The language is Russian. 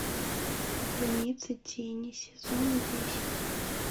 граница тени сезон десять